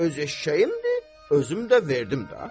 Öz eşşəyimdir, özüm də verdim də.